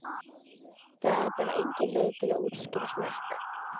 Það er bara engin leið að útskýra smekk.